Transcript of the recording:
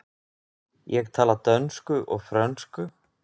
Ég tala dönsku og frönsku.